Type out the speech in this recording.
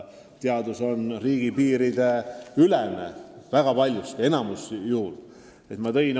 Teadus on riigipiirideülene, vähemalt suures osas.